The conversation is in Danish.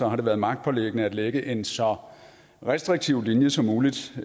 har det været magtpåliggende at lægge en så restriktiv linje som muligt